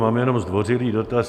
Mám jenom zdvořilý dotaz.